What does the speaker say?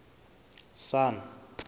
sun